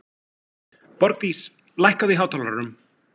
Borgdís, lækkaðu í hátalaranum.